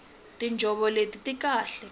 tinjhovo leti ti kahle